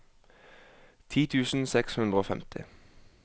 ti tusen seks hundre og femti